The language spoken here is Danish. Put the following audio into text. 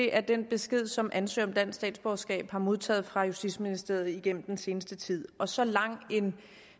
er den besked som ansøgere om dansk statsborgerskab har modtaget fra justitsministeriet igennem den seneste tid og så lang en